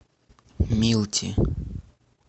милти